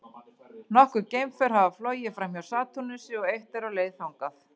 Nokkur geimför hafa flogið framhjá Satúrnusi og eitt er á leið þangað.